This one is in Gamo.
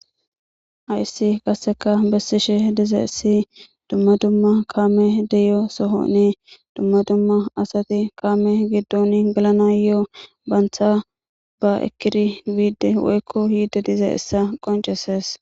hayssi qasseka bessishe diza issi dumma dumma kaame deyo soho nee dumma dumma asati kaame giddon galana ye7o baantha ba ekkiri biide woykko hiidde diza issa qonceses